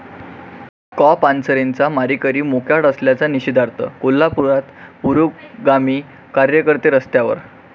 कॉ. पानसरेंचे मारेकरी मोकाट असल्याच्या निषेधार्थ कोल्हापुरात पुरोगामी कार्यकर्ते रस्त्यावर